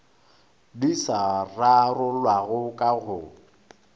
di sa rarollwago ka go